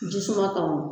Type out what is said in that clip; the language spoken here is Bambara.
Jisuman ka ɲi